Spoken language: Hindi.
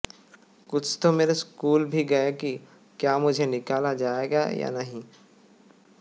कुछ तो मेरे स्कूल भी गए कि क्या मुझे निकाला जाएगा या नहीं